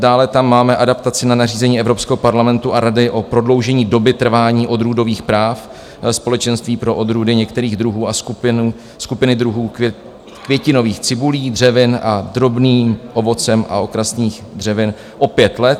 Dále tam máme adaptaci na nařízení Evropského parlamentu a Rady o prodloužení doby trvání odrůdových práv Společenství pro odrůdy některých druhů a skupiny druhů květinových cibulí, dřevin s drobným ovocem a okrasných dřevin o pět let.